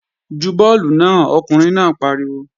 Ju bọ́ọ̀lù náà! Ọkùnrin náà pariwo